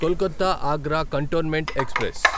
Kolkata Agra cantonment express